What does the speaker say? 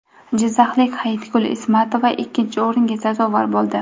Jizzaxlik Hayitgul Ismatova ikkinchi o‘ringa sazovor bo‘ldi.